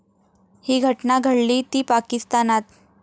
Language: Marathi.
ही घटना घडलीय ती पाकिस्तानात.